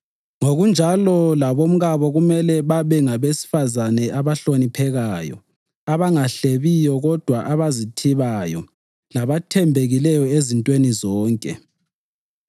Ngokunjalo, labomkabo kumele babe ngabesifazane abahloniphekayo, abangahlebiyo kodwa abazithibayo labathembekileyo ezintweni zonke.